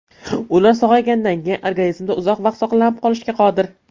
Ular sog‘aygandan keyin organizmda uzoq vaqt saqlanib qolishga qodir.